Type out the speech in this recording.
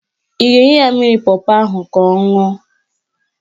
Ị ga-enye ya mmiri pọpọ ahụ ka ọ ṅụọ?